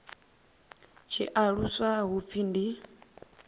tshi aluswa hu pfi ndi